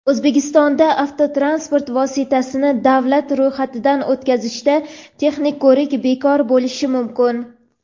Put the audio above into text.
O‘zbekistonda avtotransport vositasini davlat ro‘yxatidan o‘tkazishda texnik ko‘rik bekor bo‘lishi mumkin.